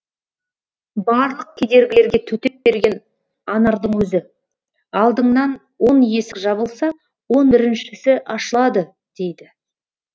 барлық кедергілерге төтеп берген анардың өзі алдыңнан он есік жабылса он біріншісі ашылады дейді